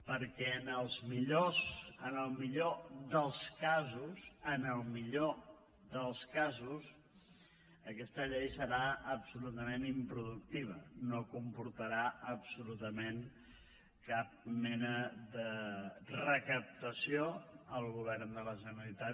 perquè en el millor dels casos en el millor dels casos aquesta llei serà absolutament improductiva no comportarà absolutament cap mena de recaptació al govern de la generalitat